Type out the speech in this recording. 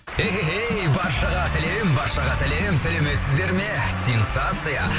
эхэхэй баршаға сәлем баршаға сәлем сәлеметсіздер ме сенсация